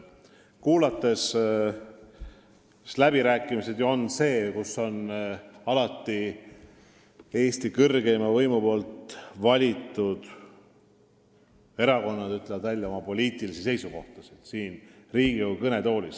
Sellistel läbirääkimistel on Eesti kõrgeima võimu kandja ehk rahva valitud saadikud siin Riigikogu kõnetoolis ikka oma seisukohti välja öelnud.